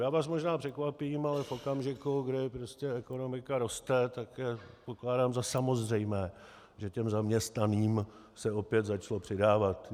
Já vás možná překvapím, ale v okamžiku, kdy prostě ekonomika roste, tak pokládám za samozřejmé, že těm zaměstnaným se opět začalo přidávat.